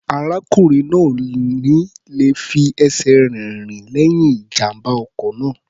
Arákùnrin náà ò ní le fi ẹsẹ̀ rẹ̀ rìn lẹ́yìn ìjàm̀bá ọkọ̀ náà.